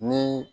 Ni